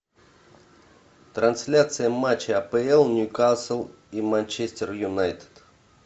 трансляция матча апл ньюкасл и манчестер юнайтед